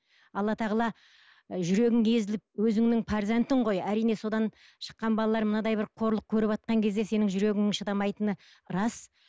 алла тағала жүрегің езіліп өзіңнің перзентің ғой әрине содан шыққан балалар мынадай бір қорлық көріватқан кезде сенің жүрегің шыдамайтыны рас